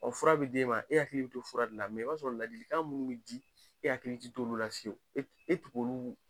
Ɔn fura bi d'ema , e hakiliki bi to fura la i b'a sɔrɔ ladilikan munnu bi di e hakili ti to olu la e olu.